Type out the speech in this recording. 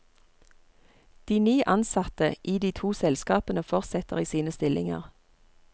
De ni ansatte i de to selskapene fortsetter i sine stillinger.